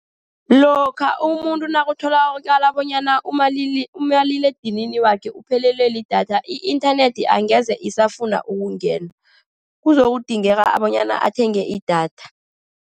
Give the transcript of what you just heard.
Lokha umuntu nakutholakala bonyana umaliledinini wakhe uphelelwe lidatha, i-inthanethi angeze isafuna ukungena. Kuzokudingeka bonyana athenge idatha.